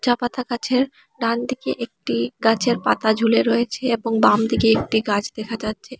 চা পাতা গাছের ডানদিকে একটি গাছের পাতা ঝুলে রয়েছে এবং বামদিকে একটি গাছ দেখা যাচ্ছে।